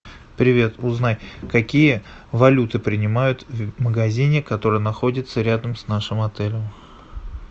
привет узнай какие валюты принимают в магазине который находится рядом с нашим отелем